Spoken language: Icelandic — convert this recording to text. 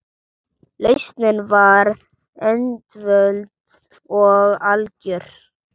Lausnin var einföld og algjör.